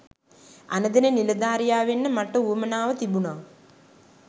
අණදෙන නිලධාරියා වෙන්න මට උවමනාව තිබුනා.